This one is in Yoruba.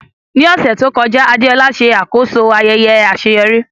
Ní ọ̀sẹ̀ tó kọjá, Adeola ṣe àkóso ayẹyẹ àṣeyọrí.